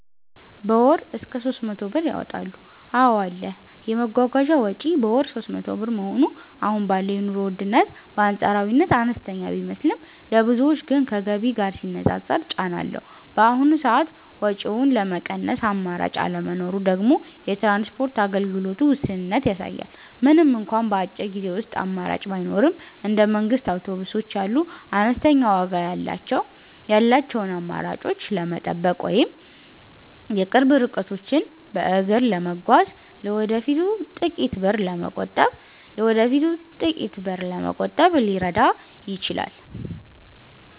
በ ወር እስከ 300 ብር ያወጣሉ ,አዎ አለ, የመጓጓዣ ወጪ በወር 300 ብር መሆኑ አሁን ባለው የኑሮ ውድነት በአንፃራዊነት አነስተኛ ቢመስልም፣ ለብዙዎች ግን ከገቢ ጋር ሲነፃፀር ጫና አለው። በአሁኑ ሰዓት ወጪውን ለመቀነስ አማራጭ አለመኖሩ ደግሞ የትራንስፖርት አገልግሎቱ ውስንነትን ያሳያል። ምንም እንኳን በአጭር ጊዜ ውስጥ አማራጭ ባይኖርም፣ እንደ መንግስት አውቶቡሶች ያሉ አነስተኛ ዋጋ ያላቸውን አማራጮች መጠበቅ ወይም የቅርብ ርቀቶችን በእግር መጓዝ ለወደፊቱ ጥቂት ብር ለመቆጠብ ሊረዳ ይችላል።